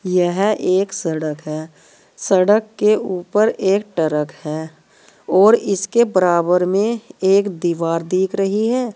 यह एक सड़क है सड़क के ऊपर एक टरक है और इसके बराबर में एक दीवार दिख रही है।